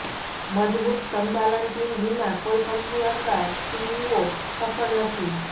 મજબૂત સંચાલન ટીમ વિના કોઈ કંપની અથવા સીઇઓ સફળ નથી